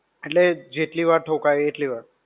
એટલે, જેટલી વાર ઠોકાય એટલી વાર.